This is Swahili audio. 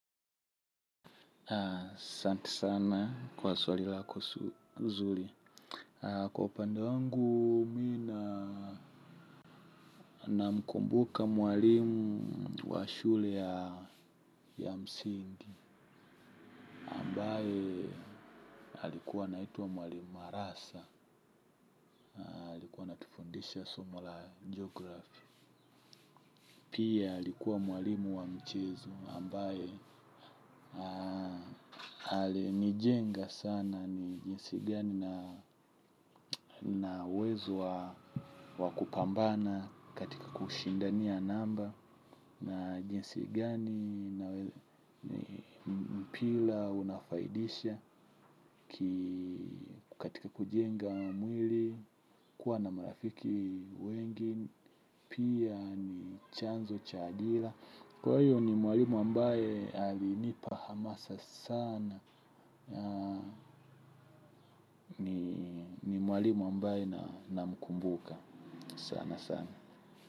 Santi sana kwa swali lako zuri. Kwa upande wangu mi na namkumbuka mwalimu wa shule ya msingi. Ambae alikuwa anaitwa mwalimu wa Arasa, alikua anatufundisha somo la Geography. Pia alikuwa mwalimu wa michezo ambaye alinijenga sana ni jinsi gani na uwezo wa kupambana katika kushindania namba. Na jinsi gani mpira unafaidisha katika kujenga mwili kuwa na marafiki wengi. Pia ni chanzo cha dila. Kwa hiyo ni mwalimu ambaye alinipa hamasa sana. Ni mwalimu ambaye namkumbuka sana sana.